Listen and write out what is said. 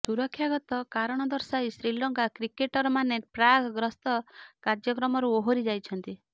ସୁରକ୍ଷାଗତ କାରଣ ଦର୍ଶାଇ ଶ୍ରୀଲଙ୍କା କ୍ରିକେଟରମାନେ ପାକ୍ ଗସ୍ତ କାର୍ଯ୍ୟକ୍ରମରୁ ଓହରି ଯାଇଛନ୍ତି